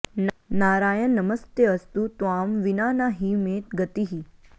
नारायण नमस्तेऽस्तु त्वां विना न हि मे गतिः